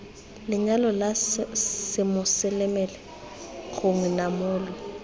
lenyalo la semoseleme gongwe namolo